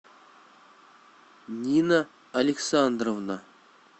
нина александровна